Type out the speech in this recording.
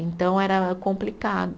Então era complicado.